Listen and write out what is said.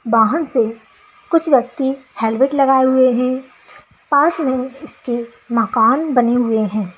वाहन से कुछ व्यक्ति हेलमेट लगाये हुए है पास में उसके मकान बने हुए हैं ।